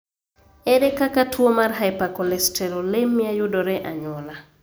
Ere kaka tuo mar hypercholesterolemia yudore anyuola?